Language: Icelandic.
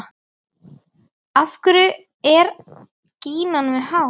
Af hverju er gínan með hár?